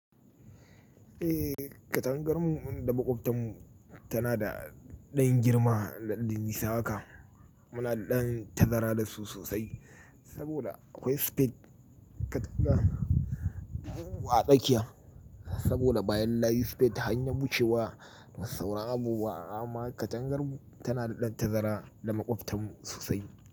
Eh, ƙatangar mu mu da maƙwabtan mu tana da ɗan girma da dan nisa haka. Muna da ɗan tazara da su sosai saboda akwai space katanga a tsakiya saboda bayan layi space hanyar wucewa da sauran abu ba ama ƙatangar mu tana da ɗan tazara da makwabtan mu sosai.